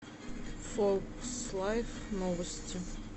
фокс лайф новости